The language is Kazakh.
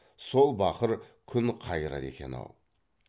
сол бақыр күн қайырады екен ау